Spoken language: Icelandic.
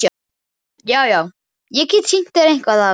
Já, já- ég get sýnt þér eitthvað af þessu.